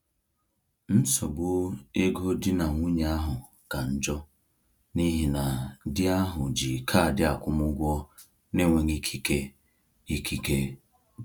Nsogbu ego di na nwunye ahụ ka njọ n’ihi na di ahụ ji kaadị akwụmụgwọ n’enweghị ikike. ikike.